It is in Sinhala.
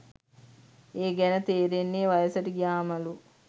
ඒ ගැන තේරෙන්නේ වයසට ගියාමලු.